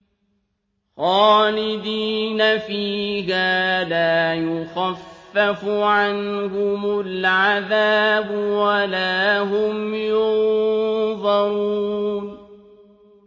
خَالِدِينَ فِيهَا لَا يُخَفَّفُ عَنْهُمُ الْعَذَابُ وَلَا هُمْ يُنظَرُونَ